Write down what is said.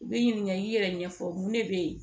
U bɛ ɲininka i yɛrɛ ɲɛfɔ mun ne bɛ yen